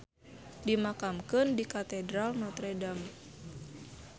Dimakamkeun di Katedral Notre Dame.